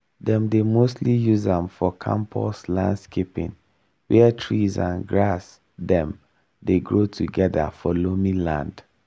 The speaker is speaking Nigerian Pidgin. dem dey mostly use am for campus landscaping where trees and grass dem dey grow together for loamy land